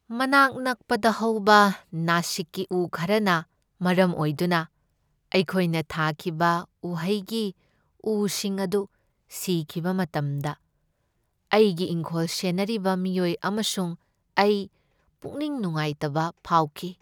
ꯃꯅꯥꯛ ꯅꯛꯄꯗ ꯍꯧꯕ ꯅꯥꯁꯤꯛꯀꯤ ꯎ ꯈꯔꯅ ꯃꯔꯝ ꯑꯣꯏꯗꯨꯅ ꯑꯩꯈꯣꯏꯅ ꯊꯥꯈꯤꯕ ꯎꯍꯩꯒꯤ ꯎꯁꯤꯡ ꯑꯗꯨ ꯁꯤꯈꯤꯕ ꯃꯇꯝꯗ ꯑꯩꯒꯤ ꯏꯪꯈꯣꯜ ꯁꯦꯟꯅꯔꯤꯕ ꯃꯤꯑꯣꯏ ꯑꯃꯁꯨꯡ ꯑꯩ ꯄꯨꯛꯅꯤꯡ ꯅꯨꯡꯉꯥꯏꯇꯕ ꯐꯥꯎꯈꯤ꯫